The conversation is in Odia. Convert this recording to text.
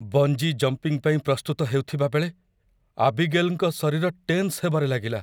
ବଞ୍ଜି ଜମ୍ପିଙ୍ଗ ପାଇଁ ପ୍ରସ୍ତୁତ ହେଉଥିବା ବେଳେ ଆବିଗେଲ୍‌ଙ୍କ ଶରୀର ଟେନ୍ସ ହେବାରେଲାଗିଲା।